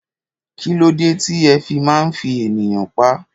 Kílódé tí ẹ fi máa ń fi ènìyàn pá?